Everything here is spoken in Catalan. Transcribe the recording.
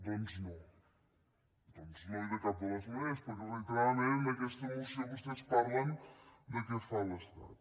doncs no doncs no i de cap de les maneres perquè reiteradament en aquesta moció vostès parlen de què fa l’estat